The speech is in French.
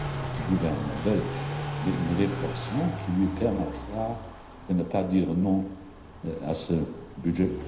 du gouvernement belge, mais une réflexion qui lui permettra de ne pas dire non à ce budget.